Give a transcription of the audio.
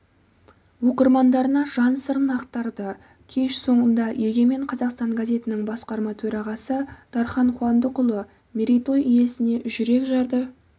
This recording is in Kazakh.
оқырмандарына жан сырын ақтарды кеш соңында егемен қазақстан газетінің басқарма төрағасы дархан қуандықұлы мерейтой иесіне жүрекжарды